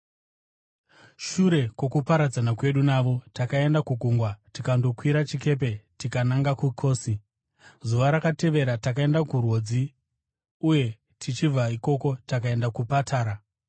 Shure kwokuparadzana kwedu navo, takaenda kugungwa tikandokwira chikepe tikananga kuKosi. Zuva rakatevera takaenda kuRhodzi uye tichibva ikoko takaenda kuPatara.